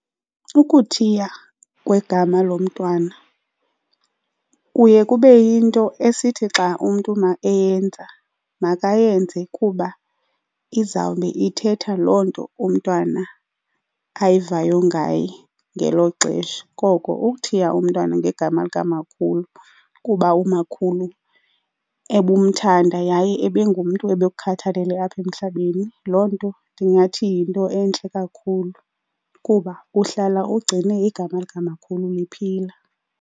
Ukuthiwa kwegama lomntwana kuye kube yinto esithi xa umntu eyenza makayenze kuba izawube ithetha loo nto umntwana ayivayo ngaye ngelo xesha. Koko ukuthiya umntwana ngegama likamakhulu kuba umakhulu ebumthanda yaye ebengumntu ebekukhathalele apha emhlabeni loo nto ndingathi yinto entle kakhulu kuba uhlala ugcine igama likamakhulu liphila